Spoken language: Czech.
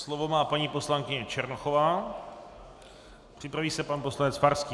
Slovo má paní poslankyně Černochová, připraví se pan poslanec Farský.